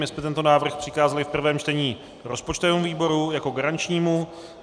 My jsme tento návrh přikázali v prvém čtení rozpočtovému výboru jako garančnímu.